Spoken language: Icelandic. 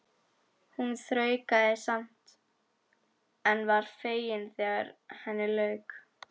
Hún þraukaði samt en var fegin þegar henni lauk.